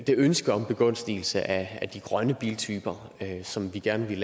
det ønske om begunstigelse af de grønne biltyper som vi gerne vil